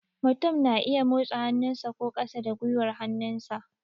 Mutum na iya motsa hannu sa, sa ko ƙasa da gwiwar hannu